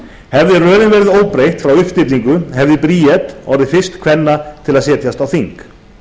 hefði röðin verið óbreytt frá uppstillingu hefði bríet orðið fyrst kvenna til að setjast á þing